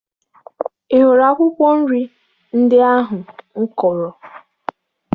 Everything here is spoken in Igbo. Ị hụrụ akwụkwọ nri ndị ahụ m kọrọ?